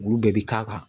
Olu bɛɛ bi k'a kan